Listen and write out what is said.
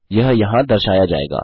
यह यहाँ दर्शाया जाएगा